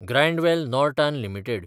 Grindwell Norton limited